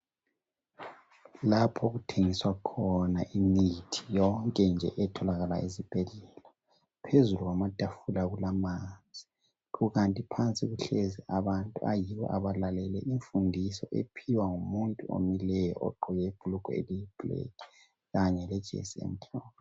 Lapho okuthengiswa khona imithi yonke nje etholakala ezibhedlela ,phezu kwama tafula kulamanzi .Kukanti phansi kuhlezi abantu ayibo abalalele imfundiso ephiwa ngumuntu omileyo ogqoke ibhulugwe eliyi black kanye lejesi emhlophe .